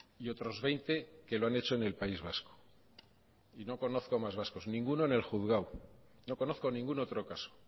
y otros veinte que lo han hecho en el país vasco y no conozco más vascos ninguno en el juzgado no conozco ningún otro caso